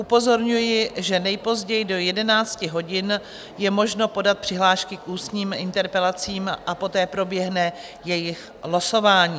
Upozorňuji, že nejpozději do 11 hodin je možno podat přihlášky k ústním interpelacím a poté proběhne jejich losování.